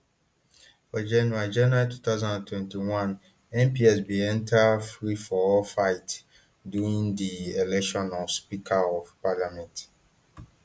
for january january two thousand and twenty-one mps bin enta freeforall fight during di election of speaker of parliament